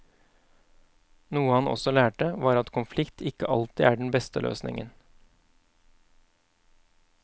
Noe han også lærte, var at konflikt ikke alltid er den beste løsningen.